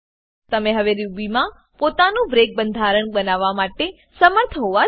તમે હવે રૂબીમાં પોતાનું બ્રેક બંધારણ બનાવવા માટે સમર્થ હોવા જોઈએ